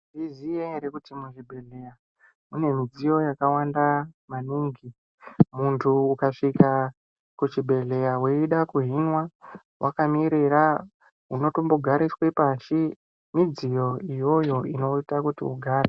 Munozviziya ere kuti muzvibhedhlera mune midziyo yakawanda maningi. Munthu ukasvika kuchibhedhlera weida kuhinwa wakaemera, unotombogariswa pashi. Midziyo iyoyo inoita kuti ugare.